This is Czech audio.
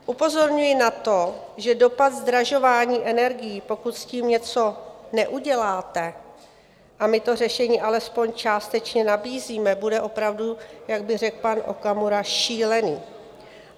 Upozorňuji na to, že dopad zdražování energií, pokud s tím něco neuděláte, a my to řešení alespoň částečně nabízíme, bude opravdu, jak by řekl pan Okamura, šílený.